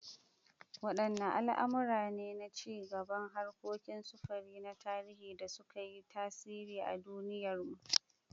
Wadanne al’amura ne na ci gaban harkokin sufuri na tarihi da suka yi tasiri a duniyarmu?